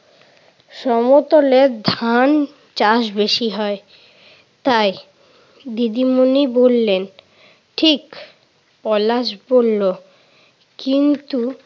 সমতলে ধান চাষ বেশি হয় তাই। দিদিমণি বললেন, ঠিক। পলাশ বলল, কিন্তু